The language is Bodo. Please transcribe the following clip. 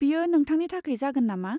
बेयो नोंथांनि थाखाय जागोन नामा?